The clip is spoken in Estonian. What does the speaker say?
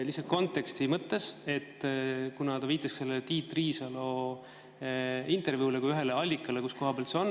Lihtsalt konteksti mõttes, et kuna ta viitas Tiit Riisalo intervjuule kui ühele allikale, kus seda on öeldud.